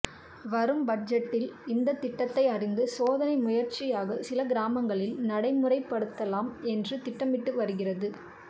வரும் பட்ஜெட்டில் இந்தத் திட்டத்தை அறிந்து சோதனை முயற்சியாக சில கிராமங்களில் நடைமுறைப்படுத்தலாம் என்று திட்டமிட்டு வருகிறது